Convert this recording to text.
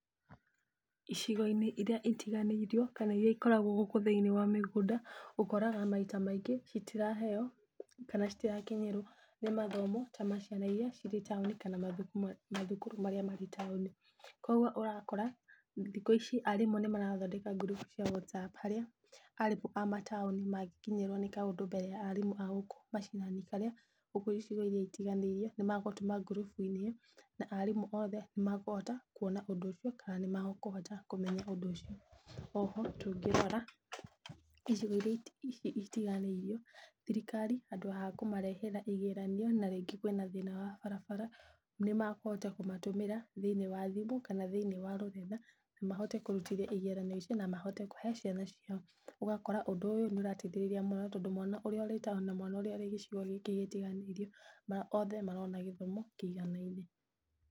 Icigo-inĩ iria itiganĩirio kana iria ikoragwo gũkũ thĩinĩi wa mĩgũnda ũkoraga maita maingĩ citiraheyo kana citirakinyĩrwo nĩ mathomo ta ma ciana iria cirĩ taũni kana mathukuru marĩa marĩ taũni. Koguo ũrakoa thikũ ici arimũ nĩ marathondeka ngurubu cia whatsapp harĩa arimũ a mataũni mangikinyĩrwo nĩ kaũndũ mbere ya arimũ agũkũ macinani. Harĩa gũkũ icigo iria itiganĩirio nĩ magũtũma ngurubu iria na arimũ othe nĩ makũhota kuoana ũndũ ũcio, kana nĩ makuhota kũmenya ũndũ ũcio. O ho tũngĩrora icigo iria itiganĩirio thirikari handũ ha kũmarehera igeranio na rĩngĩ kwĩna thĩna wa barabra nĩ makuhota kũmatũmĩra thĩiniĩ wa thimũ, kana thĩiniĩ wa rũrenda na mahote kũrutithia igeranio icio na mahote kũhe ciana ciao. Ũgakora ũndũ ũyũ nĩ ũrateithĩrĩria mũno, tondũ mwana ũrĩa wĩtaũni na mwana ũrĩa wĩ gĩcigo gĩkĩ gĩtiganĩirio othe marona gĩthomo kĩiganaine.